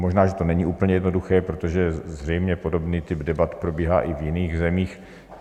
Možná že to není úplně jednoduché, protože zřejmě podobný typ debat probíhá i v jiných zemích.